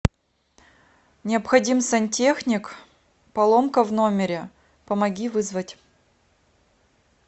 необходим сантехник поломка в номере помоги вызвать